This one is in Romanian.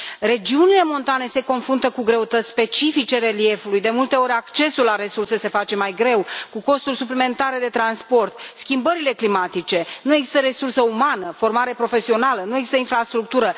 Regiunile montane se confruntă cu greutăți specifice reliefului, de multe ori accesul la resurse se face mai greu, cu costuri suplimentare de transport, schimbările climatice, nu există resursă umană, formare profesională, nu există infrastructură.